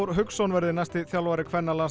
Hauksson verði næsti þjálfari